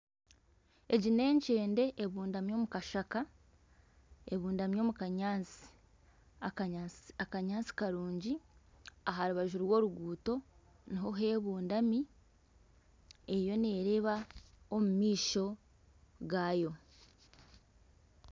Egi ni enkyende ebundami omu kanyaantsi karungi aha rubaju rw'oruguuto niho hebundami eriyo nereeba omu maisho gayo.